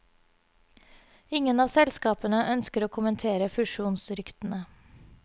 Ingen av selskapene ønsker å kommentere fusjonsryktene.